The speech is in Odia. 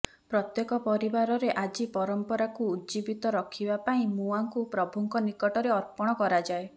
ପ୍ରତ୍ୟେକ ପରିବାର ରେ ଆଜି ପରମ୍ପରାକୁ ଉଜ୍ଜିବୀତ ରଖିବାପାଇଁ ମୁଆଁକୁ ପ୍ରଭୂ ଙ୍କ ନିକଟରେ ଅର୍ପଣ କରାଯାଏ